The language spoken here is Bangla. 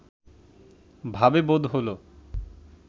ভাবে বোধ হল